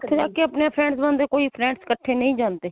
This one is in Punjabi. ਉੱਥੇ ਜਾ ਕੇ ਆਪਣੇ friends ਬਣਦੇ ਕੋਈ friends ਇੱਕਠੇ ਨਹੀ ਜਾਂਦੇ.